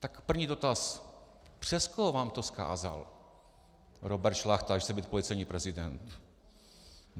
Tak první dotaz: Přes koho vám to vzkázal Robert Šlachta, že chce být policejní prezident?